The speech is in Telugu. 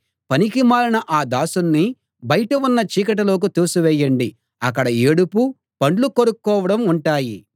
పనికిమాలిన ఆ దాసుణ్ణి బయట ఉన్న చీకటిలోకి తోసివేయండి అక్కడ ఏడుపు పండ్లు కొరుక్కోవడం ఉంటాయి